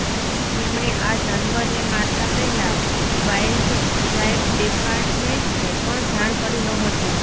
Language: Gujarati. તેમણે આ જાનવરને મારતા પહેલા વાઈલ્ડલાઈફ ડિપાર્ટમેન્ટને પણ જાણ કરી નહોતી